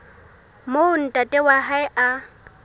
moo ntate wa hae a